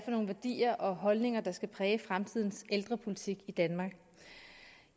nogle værdier og holdninger der skal præge fremtidens ældrepolitik i danmark